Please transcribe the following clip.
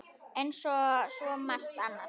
Eins og svo margt annað.